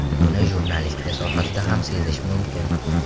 Buni jurnalistika sohasida ham sezish mumkin.